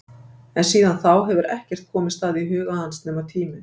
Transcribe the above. En síðan þá hefur ekkert komist að í huga hans nema tíminn.